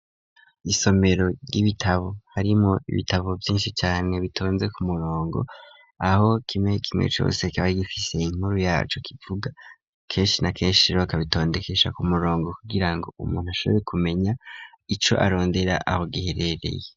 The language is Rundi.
Isomero ry'ibitabo, harimwo ibitabo vyinshi cane, bitonze ku murongo; aho kimwe kimwe cose, kiba gifise inkuru yaco kivuga; kenshi na kenshi rero, bakabitondekesha ku murongo, kugira ngo, umuntu ashobore kumenya, ico arondera aho giherereye.